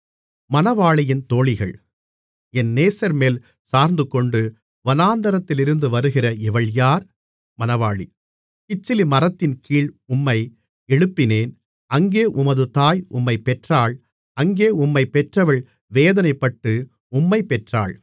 தன் நேசர்மேல் சார்ந்துகொண்டு வனாந்திரத்திலிருந்து வருகிற இவள் யார் மணவாளி கிச்சிலிமரத்தின்கீழ் உம்மை எழுப்பினேன் அங்கே உமது தாய் உம்மைப் பெற்றாள் அங்கே உம்மைப் பெற்றவள் வேதனைப்பட்டு உம்மைப் பெற்றாள்